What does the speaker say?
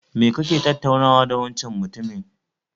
Me kake tattaunawa da wancan mutumin?